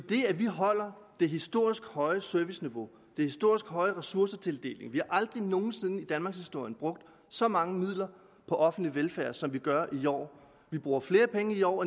det at vi holder det historisk høje serviceniveau den historisk høje ressourcetildeling vi har aldrig nogen sinde i danmarkshistorien brugt så mange midler på offentlig velfærd som vi gør i år vi bruger flere penge i år